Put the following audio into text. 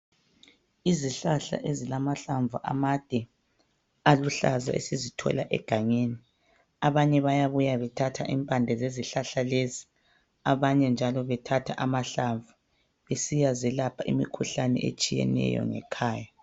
izihlahla ezilahlamvu amade aluhlaza esisithola egangeni abanye bayabuya bethatha impande zezihlahla lezi abanye njalo bethatha amahlamvu besiya zelapha imikhuhlane etshiyeneyo ngekhaya